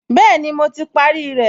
Bẹ́ẹ̀ni, mo ti parí rẹ̀